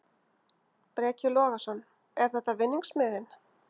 Breki Logason: Er þetta vinningsmiðinn?